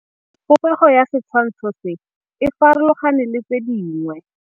Popêgo ya setshwantshô se, e farologane le tse dingwe.